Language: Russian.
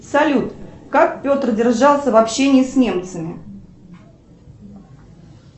салют как петр держался в общении с немцами